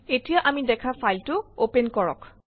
এতিয়া আমি দেখা ফাইলটো অপেন কৰক